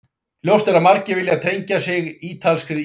Ljóst er að margir vilja tengja sig ítalskri ísgerð.